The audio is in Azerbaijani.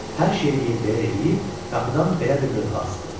Hər şeyi yerbəyer eləyib qapıdan belə bir lövhə asdı.